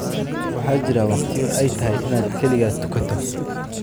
Waxaa jira waqtiyo ay tahay inaad kaligaa tukato